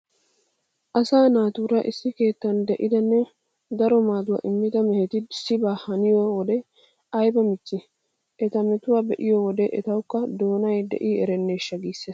Asaa naatuura issi keettan de'idanne daro maaduwa immida meheti issibaa haniyo wode ayba michchii? Eta metuwaa be'iyo wode etawukka doonay de'i erenneeshsha giissees.